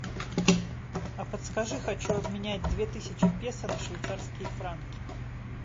а подскажи хочу обменять две тысячи песо на швейцарские франки